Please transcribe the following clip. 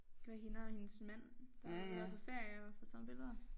Kan være hende og hendes mand der har været ude at være på ferie og få taget billeder